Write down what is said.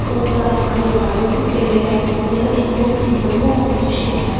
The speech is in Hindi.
ऊपर आसमान मे बादल दिख रहे हैं यह एक बहोत ही मनमोहक दृश्य है।